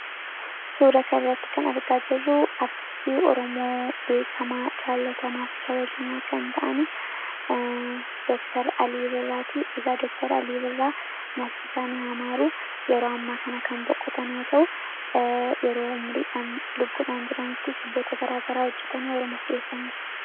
suura karratti kan argaa jerruu artistii ormoo beekama clatamaa fi kabeejamaa kan ta'ani dooktr aliiviraatii eegaa dooktar aliiviraa nafsisaan hamaaruu yeroo ammaa kana kan boqqotanoo ta'u yeroo umriidhaan lubbudhaan jiranitti sibboota garaagaraa hojjetanii ormoof dhiheessaniiru